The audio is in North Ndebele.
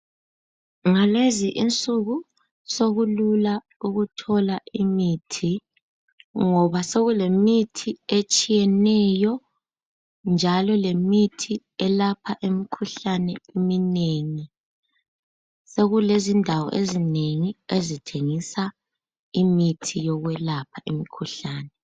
Ngalezi insuku sokulula ukuthola imithi ngoba sokulemithi etshiyeneyo njalo lemithi elapha imikhuhlane eminengi sokulezindawo ezinengi ezithengisa imithi yokwelapha imikhuhlane.